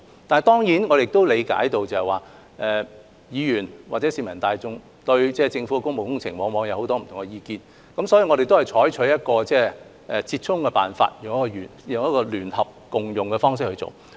但是，我亦理解議員或市民大眾對政府的工務工程往往有很多不同的意見，所以我們採取折衷的辦法，即聯合共用大樓的方案。